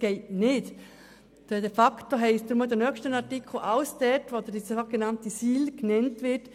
Somit ist in den nächsten Artikeln alles zurückgesetzt, wo die sogenannte SIL genannt wird.